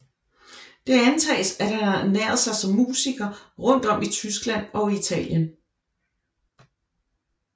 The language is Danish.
Det antages at han har ernæret sig som musiker rundt om i Tyskland og Italien